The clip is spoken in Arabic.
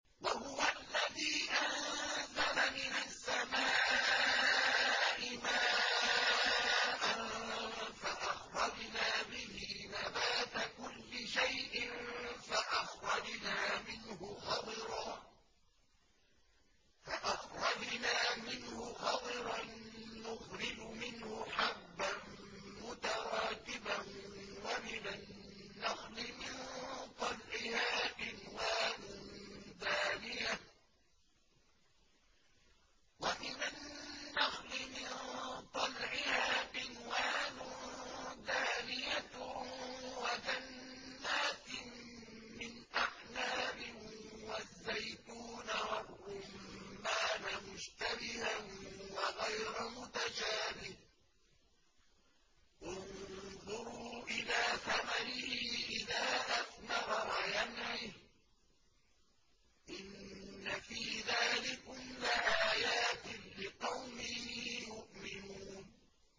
وَهُوَ الَّذِي أَنزَلَ مِنَ السَّمَاءِ مَاءً فَأَخْرَجْنَا بِهِ نَبَاتَ كُلِّ شَيْءٍ فَأَخْرَجْنَا مِنْهُ خَضِرًا نُّخْرِجُ مِنْهُ حَبًّا مُّتَرَاكِبًا وَمِنَ النَّخْلِ مِن طَلْعِهَا قِنْوَانٌ دَانِيَةٌ وَجَنَّاتٍ مِّنْ أَعْنَابٍ وَالزَّيْتُونَ وَالرُّمَّانَ مُشْتَبِهًا وَغَيْرَ مُتَشَابِهٍ ۗ انظُرُوا إِلَىٰ ثَمَرِهِ إِذَا أَثْمَرَ وَيَنْعِهِ ۚ إِنَّ فِي ذَٰلِكُمْ لَآيَاتٍ لِّقَوْمٍ يُؤْمِنُونَ